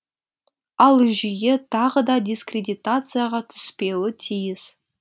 ал жүйе тағы да дискредитацияға түспеуі тиіс